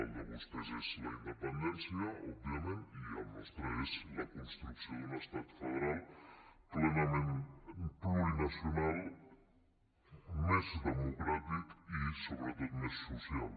el de vostès és la independència òbviament i el nostre és la construcció d’un estat federal plenament plurinacional més democràtic i sobretot més social